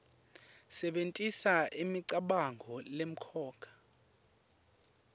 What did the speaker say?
sebentisa imicabango lemcoka